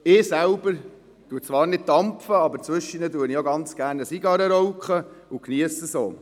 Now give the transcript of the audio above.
Ich selber dampfe zwar nicht, rauche zwischendurch jedoch gerne eine Zigarre und geniesse dies auch.